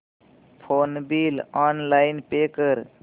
phone bill online pay कर